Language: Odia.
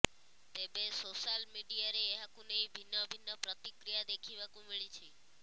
ତେବେ ସୋଶାଲ ମିଡିଆରେ ଏହାକୁ ନେଇ ଭିନ୍ନ ଭିନ୍ନ ପ୍ରତିକ୍ରିୟା ଦେଖିବାକୁ ମିଳିଛି